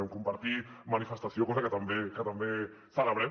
vam compartir manifestació cosa que també celebrem